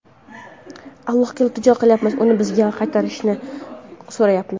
Allohga iltijo qilyapmiz, uni bizga qaytarishini so‘rayapmiz.